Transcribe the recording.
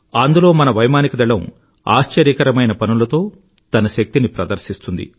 అందులో మన వైమానిక దళం ఆశ్చర్యకరమైన పనులతో తన శక్తిని ప్రదర్శిస్తుంది